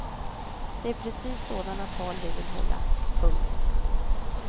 Det är precis sådana tal vi vill hålla. punkt